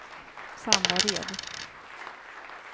Sandared